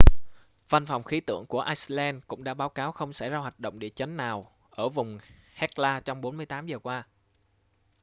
văn phòng khí tượng của iceland cũng đã báo cáo không xảy ra hoạt động địa chấn nào ở vùng hekla trong 48 giờ qua